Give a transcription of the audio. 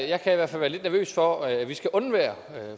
jeg kan i hvert fald være lidt nervøs for at vi skal undvære